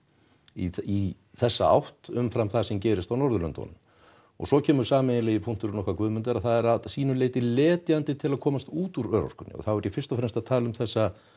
í þessa átt umfram það sem gerist á Norðurlöndunum og svo kemur sameiginlegi punkturinn okkar Guðmundar að það er að sýnu leyti letjandi til að komast út úr örorkunni og þá er ég fyrst og fremst að tala um þessa